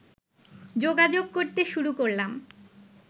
যোগাযোগ করতে শুরু করলাম